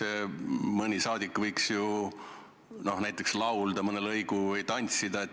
No mõni saadik võiks ju näiteks laulda mõne lõigu või tantsida.